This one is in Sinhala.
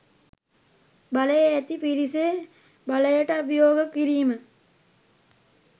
බලය ඇති පිරිසේ බලයට අභියෝග කිරීම